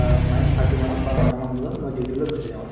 আ nine thirty মানত বা নৈ তা মান বজাত duty লৈ গুচি যাও আৰু